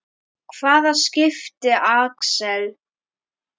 Hvaða skipi, Axel?